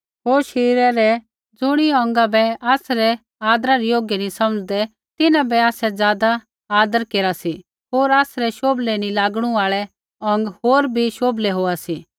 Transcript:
होर शरीरे रै ज़ुणी अौंगा बै आसै आदरै योग्य नी समझदे तिन्हां बै आसै ज़ादा आदर केरा सी होर आसरै शोभले नी लागणु आल़ै अौंग होर भी शोभले होआ सी